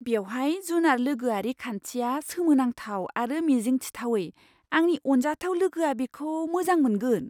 बेवहाय जुनार लोगोआरि खान्थिया सोमोनांथाव आरो मिजिंथिथावै, आंनि अनजाथाव लोगोआ बेखौ मोजां मोनगोन! "